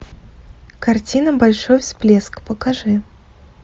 картина большой всплеск покажи